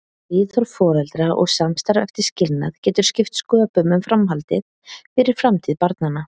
Viðhorf foreldra og samstarf eftir skilnað getur skipt sköpum um framhaldið, fyrir framtíð barnanna.